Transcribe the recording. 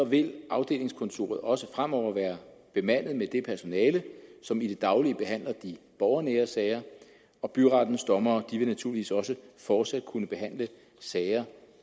vil afdelingskontoret også fremover være bemandet med det personale som i det daglige behandler de borgernære sager og byrettens dommere vil naturligvis også fortsat kunne behandle sager